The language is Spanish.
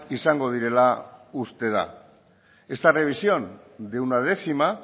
izango direla uste da esta revisión de una décima